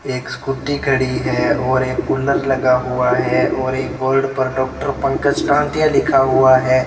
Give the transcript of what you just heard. एक स्कूटी खड़ी है और एक कूलर लगा हुआ है और एक बोर्ड पर डॉक्टर पंकज टांटिया लिखा हुआ है।